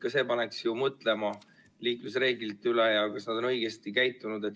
Ka see paneks ju mõtlema liiklusreeglite üle ja selle üle, kas on õigesti käitutud.